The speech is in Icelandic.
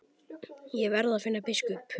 Ég verð að finna biskup!